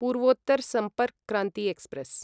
Purvottar Sampark Kranti express